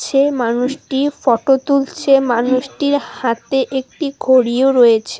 এই মানুষটি ফটো তুলছে মানুষটির হাতে একটি ঘড়িও রয়েছে।